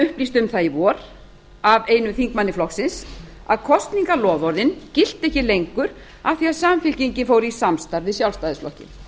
upplýst um það í vor af einum þingmanni samfylkingarinnar að kosningaloforðin gilda ekki lengur af því að samfylkingin fór í samstarf við sjálfstæðisflokkinn